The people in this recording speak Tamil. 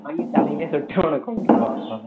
அதும் தலையிலேயே சுட்டு அவன கொன்றுவான்